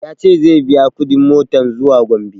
Ya ce zai biya kuɗin motan zuwa gombe